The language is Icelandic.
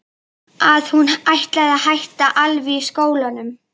Að hún ætlaði að hætta alveg í skólanum.